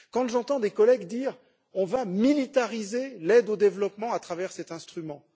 J'entends des collègues dire on va militariser l'aide au développement à travers cet instrument.